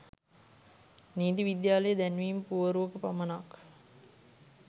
නීති විද්‍යාලයේ දැන්වීම් පුවරුවක පමණක්